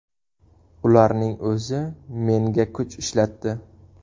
Ularning o‘zi menga kuch ishlatdi.